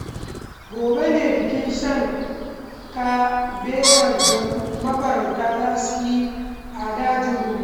Gobe ne bikin shan kabewar da mafarauta za su yi a dajin Rugu